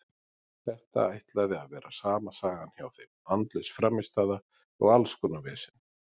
Þetta ætlaði að vera sama sagan hjá þeim, andlaus frammistaða og alls konar vesen.